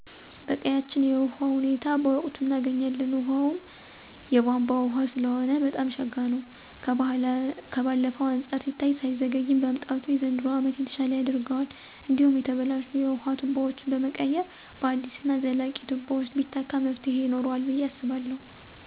በቀያችን የውሀ ሁኔታ በወቅቱ እናገኛለን ውሀውም የቧንቧ ውሀ ሰለሆነ በጣም ሸጋ ነው። ከባለፈው አንፃር ሲታይ ሳይዘገይ መምጣቱ የዘንድሮ አመት የተሻለ ያደርገዋል። እንዴሁም የተበላሹ የውሀ ቱቦወችን በመቀየር በአዲስ እና ዘላቂ ቱቦወች ቢተካ መፍትሂ ይኖረዋል ብየ አስባለሁ።